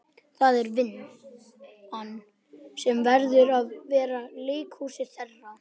Það er vinn- an sem verður að vera leikhúsið þeirra.